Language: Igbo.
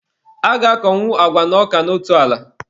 A ga-akọnwu agwa na ọka n'otu ala.